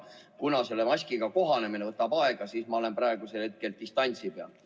Kuna selle uue maskiga kohanemine võtab aega, siis ma olen praegu distantsi peal.